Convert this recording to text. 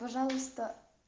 пожалуйста